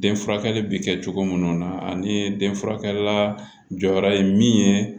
Den furakɛli bɛ kɛ cogo minnu na ani den furakɛlila jɔyɔrɔ ye min ye